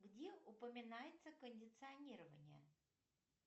где упоминается кондиционирование